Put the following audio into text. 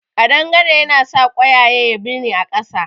Ƙadangare ya nasa ƙwayaye ya birne a ƙasa